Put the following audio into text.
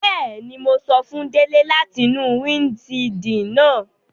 Bẹẹni, Mo sọ fun Dele lati nu windṣiidi naa